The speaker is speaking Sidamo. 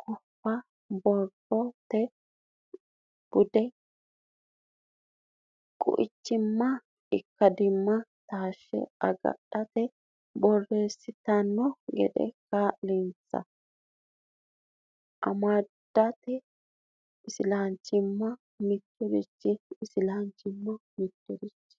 guffa borrote bude quichimmanna ikkadimma taashshe agadhite borreessitanno gede kaa linsa amadate Islanchimma mitirichi Islanchimma mitirichi.